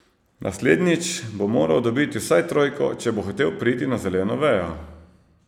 Naslednjič bo moral dobiti vsaj trojko, če bo hotel priti na zeleno vejo.